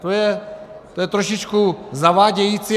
To je trošičku zavádějící.